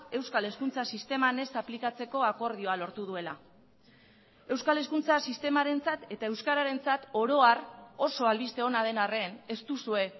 euskal hezkuntza sisteman ez aplikatzeko akordioa lortu duela euskal hezkuntza sistemarentzat eta euskararentzat oro har oso albiste ona den arren ez duzue